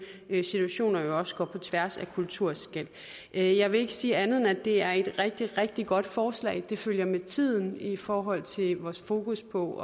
situationer jo også går på tværs af kulturskel jeg jeg vil ikke sige andet end at det er et rigtig rigtig godt forslag det følger med tiden i forhold til vores fokus på